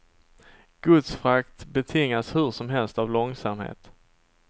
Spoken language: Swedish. Godsfrakt betingas hur som helst av långsamhet.